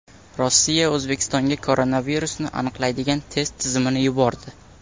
Rossiya O‘zbekistonga koronavirusni aniqlaydigan test tizimini yubordi.